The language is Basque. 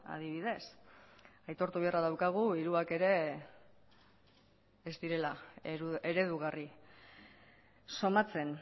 adibidez aitortu beharra daukagu hiruak ere ez direla eredugarri somatzen